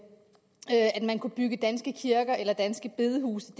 man kan bygge danske kirker eller danske bedehuse